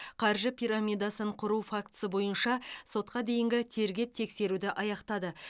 қаржы пирамидасын құру фактісі бойынша сотқа дейінгі тергеп тексеруді аяқтады